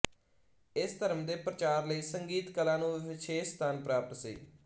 ਇਸ ਧਰਮ ਦੇ ਪ੍ਰਚਾਰ ਲਈ ਸੰਗੀਤ ਕਲਾ ਨੂੰ ਵਿਸ਼ੇਸ਼ ਸਥਾਨ ਪ੍ਰਾਪਤ ਸੀ